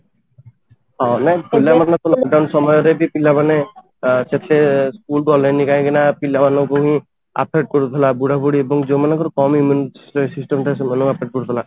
ହଁ, ପିଲାମାନେ ବି lock down ସମୟରେ ବି ପିଲାମାନେ ସେତେ ସ୍କୁଲ ଗଲେନି କାହିଁକି ନା ପିଲାମାନଙ୍କୁ ହିଁ affect କରୁଥିଲା ବୁଢା ବୁଢ଼ୀ ଏବଂ ଯୋଉ ମାନଙ୍କର କାମ immune system ଥାଏ ସେମାନଙ୍କୁ affect କରୁଥିଲା